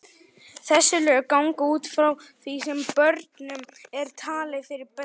Þessi lög ganga út frá því sem börnum er talið fyrir bestu.